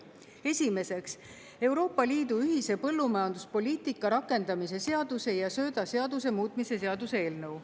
Esiteks, Euroopa Liidu ühise põllumajanduspoliitika rakendamise seaduse ja söödaseaduse muutmise seaduse eelnõu.